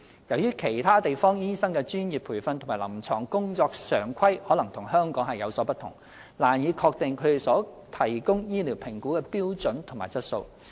由於其他地方醫生的專業培訓及臨床工作常規可能與香港的有所不同，難以確定他們所提供的醫療評估的標準和質素。